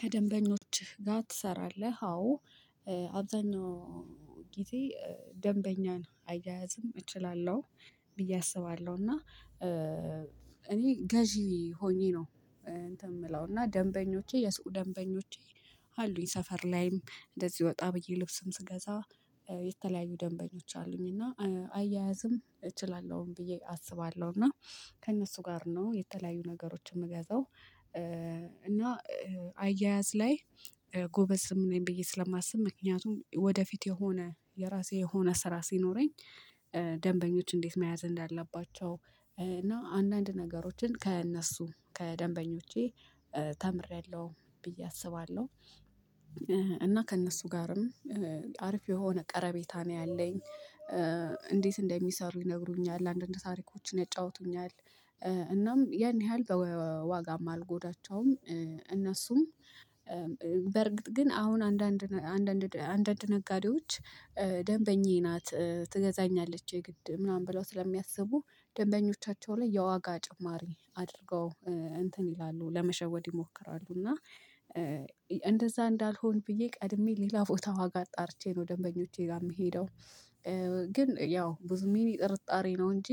ከደንበኞችህ ጋር ትሰራለህ? አዎ አብዛኛው ጊዜ ደንበኛን አያያዝም እችላለሁ ብዬ አስባለሁ። እና እኔ ገዢ ሆኜ ነው እንትን የምለው እና ደንበኞቼ የሱቁ ደንበኞቼ። አሉኝ ሰፈር ላይም እንደዚህ ወጣ ብዬ ልብስም ስገዛ የተለያዩ ደንበኞች አሉኝ እና አያያዝም እችላለሁም ብዬ አስባለሁ። እና ከእነሱ ጋር ነው የተለያዩ ነገሮችን የምገዛው እና አያያዝ ላይ ጎበዝም ነኝ ብዬ ስለማስብ። ምክንያቱም ወደፊት የሆነ የራሴ የሆነ ስራ ሲኖረኝ ደንበኞች እንዴት መያዝ እንዳለባቸው እና አንዳንድ ነገሮችን ከእነሱ ከደንበኞቼ ተምሬያለሁ ብዬ አስባለሁ። እና ከእነሱ ጋርም አሪፍ የሆነ ቀረቤታ ነው ያለኝ። እንዴት እንደሚሰሩ ይነግሩኛል አንዳንድ ታሪኮችን ያጫውቱኛል እናም ያን ያህል በዋጋም አልጎዳቸውም። እነሱም በርግጥ ግን አሁን አንዳንድ አንዳንድ አንዳንድ ነጋዴዎች ደንበኜ ናት ትገዛኛለች የግድ ምናምን ብለው ስለሚያስቡ ደንበኞቻቸው ላይ የዋጋ ጭማሪ አድርገው እንትን ይላሉ ለመሸወድ ይሞክራሉ። እና እንደዛ እንዳልሆን ብዬ ቀድሜ ሌላ ቦታ ዋጋ አጣርቼ ነው ደንበኞቼ ጋር የምሄደው። ግን ያው ብዙ ሚኒ ጥርጣሬ ነው እንጂ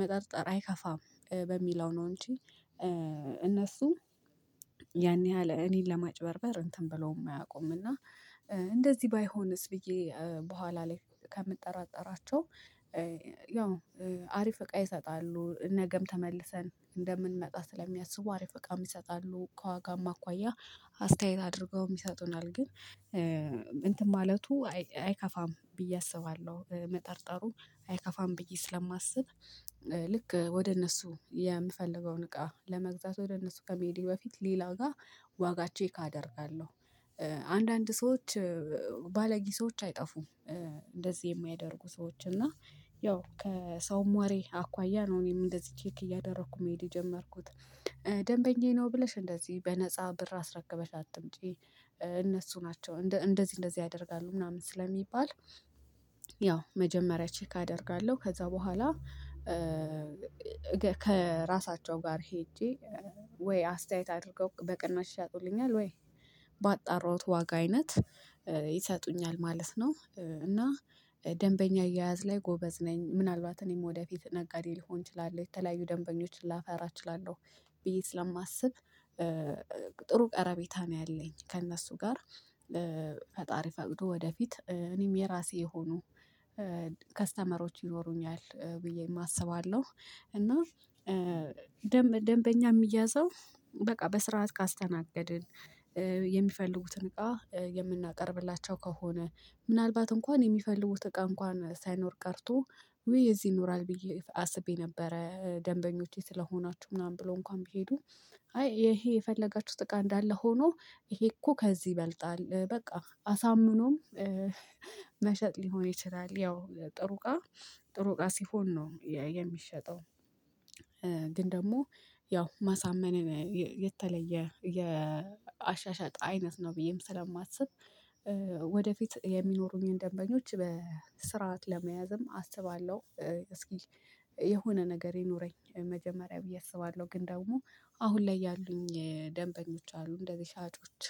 መጠርጠር አይከፋም በሚለው ነው እንጂ። እነሱ ያን ያህል እኔን ለማጭበርበር እንትን ብለውም አያውቁም። እና እንደዚህ ባይሆንስ ብዬ በኋላ ላይ ከምጠራጠራቸው። ያው አሪፍ እቃ ይሰጣሉ ነገም ተመልሰን እንደምንመጣ ስለሚያስቡ አሪፍ እቃም ይሰጣሉ ከዋጋማ አኳያ አስተያየት አድርገውም ይሰጡናል። ግን እንትን ማለቱ አይከፋም ብዬ አስባለሁ መጠርጠሩ አይከፋም ብዬ ስለማስብ። ልክ ወደ እነሱ የምፈልገውን እቃ ለመግዛት ወደ እነሱ ከመሄዴ በፊት ሌላ ጋር ዋጋ ቼክ አደርጋለሁ። አንዳንድ ሰዎች ባለጌ ሰዎች አይጠፉም እንደዚህ የሚያደርጉ ሰዎች እና ያው ከሰውም ወሬ አኳያ ነው እኔም እንደዚህ ቼክ እያደረኩ መሄድ የጀመርኩት። ደንበኛዬ ነው ብለሽ እንደዚህ በነፃ ብር አስረክበሽ አትምጪ። እነሱ ናቸው እንደዚህ እንደዚህ ያደርጋሉ ምናምን ስለሚባል። ያው መጀመሪያ ቼክ አደርጋለሁ ከዛ በኋላ ከራሳቸው ጋር ሄጄ ወይ አስተያየት አድርገው በቅናሽ ይሸጡልኛል ወይ ባጣራውት ዋጋ አይነት ይሰጡኛል ማለት ነው። እና ደንበኛ አያያዝ ላይ ጎበዝ ነኝ ምናልባት እኔም ወደፊት ነጋዴ ልሆን እችላለሁ የተለያዩ ደንበኞችን ላፈራ እችላለሁ ብዬ ስለማስብ። ጥሩ ቀረቤታ ነው ያለኝ ከእነሱ ጋር። ፈጣሪ ፈቅዶ ወደፊት እኔም የራሴ የሆኑ ከስተመሮች ይኖሩኛል ብዬም አስባለሁ። እና ደንበኛ የሚያዘው በቃ በስርዓት ካስተናገድን። የሚፈልጉትን እቃ የምናቀርብላቸው ከሆነ ምናልባት እንኳን የሚፈልጉት እቃ እንኳን ሳይኖር ቀርቶ ውይ እዚህ ይኖራል ብዬ አስቤ ነበረ ደንበኞቼ ስለሆናችሁ ምናምን ብሎ እንኳን ቢሄዱ። አይ ይሄ የፈለጋችሁት እቃ እንዳለ ሆኖ ይሄ እኮ ከዚህ ይበልጣል በቃ አሳምኖም። መሸጥ ሊሆን ይችላል ያው ጥሩ እቃ ጥሩ እቃ ሲሆን ነው የሚሸጠው። ግን ደግሞ ያው ማሳመንን የተለየ የአሻሻጥ አይነት ነው ብዬም ስለማስብ። ወደፊት የሚኖሩኝን ደንበኞች በስርዓት ለመያዝም አስባለሁ። እስኪ የሆነ ነገር ይኑረኝ መጀመሪያ ብዬ አስባለሁ ግን ደግሞ አሁን ላይ ያሉኝ ደንበኞች አሉ እንደዚህ ሻጮች።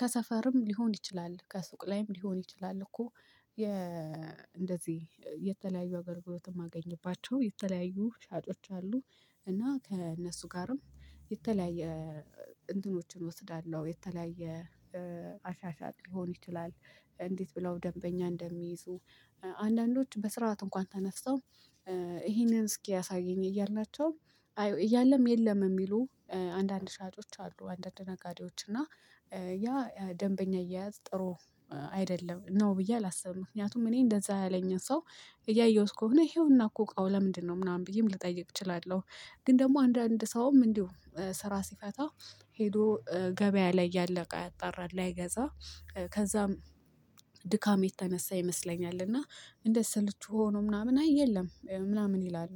ከሰፈርም ሊሆን ይችላል ከሱቅ ላይም ሊሆን ይችላል እኮ የ እንደዚህ የተለያዩ አገልግሎት የማገኝባቸው የተለያዩ ሻጮች አሉ። እና ከእነሱ ጋርም የተለያየ እንትኖችን እወስዳለሁ የተለያየ አሻሻጥ ሊሆን ይችላል። እንዴት ብለው ደንበኛ እንደሚይዙ? አንዳንዶች በስርዓት እንኳን ተነስተው ይሄንን እስኪ አሳየኝ እያልናቸው እያለም የለም የሚሉ አንዳንድ ሻጮች አሉ። አንዳንድ ነጋዴዎች እና ያ ደንበኛ አየያዝ ጥሩ አይደለም ነው ብዬ አላስብም ምክንያቱም እኔ እንደዛ ያለኝ ሰው እያየሁት ከሆነ ይሄውና እኮ እቃው ለምንድነው ምናምን ብዬም ልጠይቅ እችላለሁ። ግን ደግሞ አንዳንድ ሰውም እንዲሁ ስራ ሲፈታ ሄዶ ገበያ ላይ ያለ እቃ ያጣራል ላይገዛ። ከዛም ድካም የተነሳ ይመስለኛል እና እንደ ሰልቹ ሆኖ ምናምን አይ የለም ምናምን ይላሉ።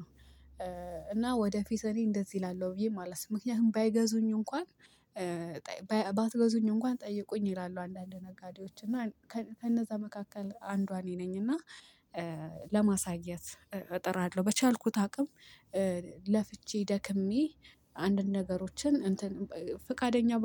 እና ወደፊት እኔ እንደዚህ እላለሁ ብዬ ማለት ነው። ምክንያቱም ባይገዙኝ እንኳን ባትገዙኝ እንኳን ጠይቁኝ ይላሉ። አንዳንድ ነጋዴዎች እና ከነዛ መካከል አንዷ እኔ ነኝ። እና ለማሳየት እጥራለሁ በቻልኩት አቅም ለፍቼ ደክሜ አንድን ነገሮችን እንትን ፈቃደኛ ባ